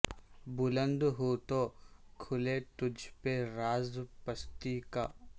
بلند ہو تو کھلے تجھ پہ راز پستی کا